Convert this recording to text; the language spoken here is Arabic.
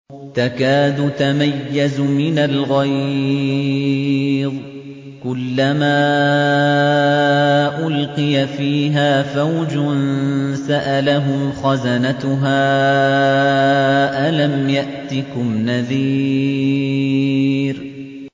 تَكَادُ تَمَيَّزُ مِنَ الْغَيْظِ ۖ كُلَّمَا أُلْقِيَ فِيهَا فَوْجٌ سَأَلَهُمْ خَزَنَتُهَا أَلَمْ يَأْتِكُمْ نَذِيرٌ